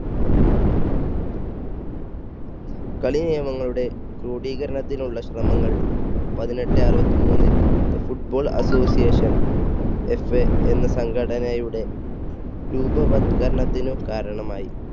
കളി നിയമങ്ങളുടെ ക്രോഡീകരണത്തിനുള്ള ശ്രമങ്ങൾ പതിനെട്ടെ അറുപത്തി മൂന്നിൽ ഫുട്ബോൾ അസോസിയേഷൻ FA എന്ന സംഘടനയുടെ രൂപവൽക്കരണത്തിന് കാരണമായി.